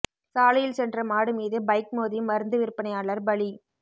சாலையில் சென்ற மாடு மீது பைக் மோதி மருந்து விற்பனையாளர் பலி